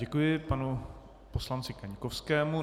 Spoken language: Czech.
Děkuji panu poslanci Kaňkovskému.